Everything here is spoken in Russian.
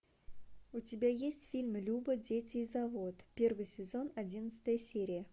у тебя есть фильм люба дети и завод первый сезон одиннадцатая серия